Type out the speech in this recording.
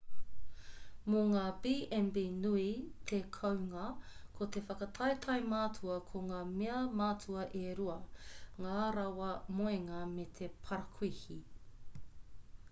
mō ngā b&b nui te kounga ko te whakataetae matua ko ngā mea matua e rua ngā rawa moenga me te parakuihi